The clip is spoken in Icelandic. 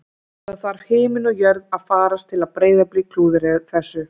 Það þarf himinn og jörð að farast til að Breiðablik klúðri þessu